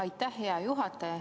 Aitäh, hea juhataja!